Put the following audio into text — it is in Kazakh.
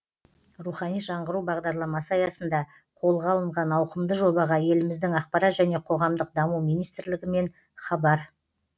рухани жаңғыру бағдарламасы аясында қолға алынған ауқымды жобаға еліміздің ақпарат және қоғамдық даму министрлігі мен хабар